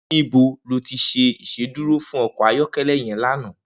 Nibò lò ti ṣé Ìṣédùró fún ọkọ ayọkẹlẹ yèn lànã?